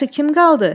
Yaxşı, kim qaldı?